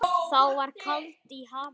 Þá var kaldi í hafinu.